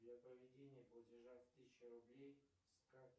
для проведения платежа в тысячу рублей с карты